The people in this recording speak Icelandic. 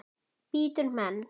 Bítur menn?